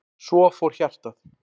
Svo fór hjartað.